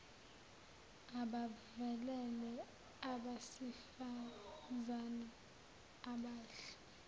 abavelele abasifazane abadle